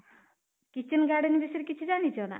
kitchen garden ବିଷୟରେ କିଛି ଜାଣିଛ ନା?